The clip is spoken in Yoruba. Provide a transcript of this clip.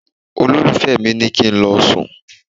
Olólùfẹ́ mi ní kí n lọ sùn.